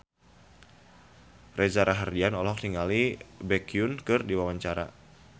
Reza Rahardian olohok ningali Baekhyun keur diwawancara